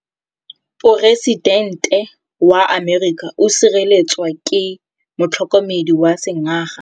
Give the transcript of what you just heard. Poresitêntê wa Amerika o sireletswa ke motlhokomedi wa sengaga.